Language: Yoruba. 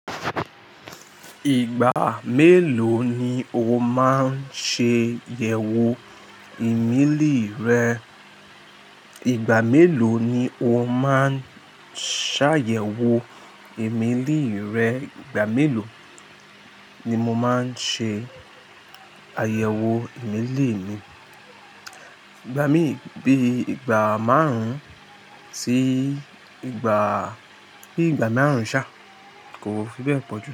Ìgbà mélòó ni o máa ń ṣe àyẹ̀wò ìmélì rẹ? Ìgbà mélòó ni o máa ń ṣàyẹ̀wò ìmélì rẹ? Ìgbà mélòó ni mo máa ń ṣe àyẹ̀wò ìmélì mi? Ìgbà mí bí i ìgbà márùn-ún sí ìgbà, bí i ìgbà márùn-ún ṣá kò fi bẹ́ẹ̀ pọ̀ jù.